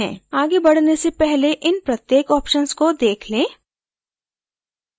आगे बढने से पहले इन प्रत्येक options को देख लें